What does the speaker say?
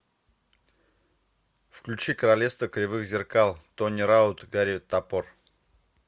включи королевство кривых зеркал тони раут гарри топор